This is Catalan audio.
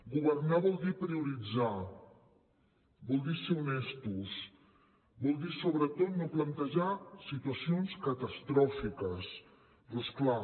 governar vol dir prioritzar vol dir ser honestos vol dir sobretot no plantejar situacions catastròfiques però és clar